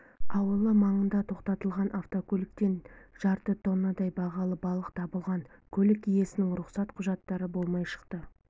ауылы маңында тоқтатылған автокөліктен жарты тоннадай бағалы балық табылған көлік иесінің рұқсат құжаттары болмай шықты